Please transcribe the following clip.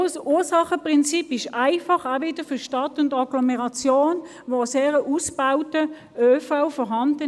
Das Verursacherprinzip ist für die Stadt und die Agglomeration einfach umsetzbar, denn hier ist ein gut ausgebauter ÖV vorhanden.